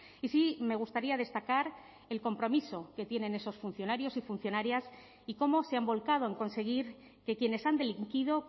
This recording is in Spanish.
y sí me gustaría destacar el compromiso que tienen esos funcionarios y funcionarias y cómo se han volcado en conseguir que quienes han delinquido